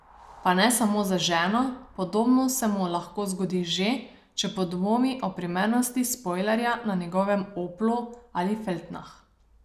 Pa ne samo za ženo, podobno se mu lahko zgodi že, če podvomi o primernosti spojlerja na njegovem oplu ali feltnah.